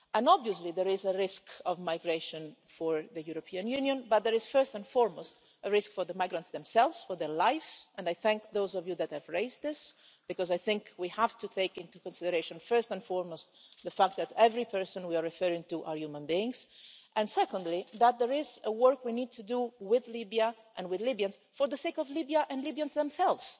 Obviously there is a risk of migration for the European Union but there is first and foremost a risk for the migrants themselves, for their lives, and I thank those of you that have raised this, because I think we have to take into consideration first and foremost the fact that every person we are referring to is a human being, and secondly that there is work we need to do with Libya and with Libyans for the sake of Libya and Libyans themselves.